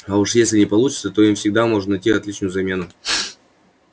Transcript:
а уж если не получится то им всегда можно найти отличную замену